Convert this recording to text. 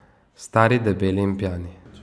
Stari, debeli in pijani.